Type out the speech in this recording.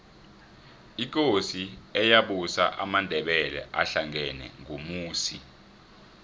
ikosi eyabusa amandebele ahlangena ngumusi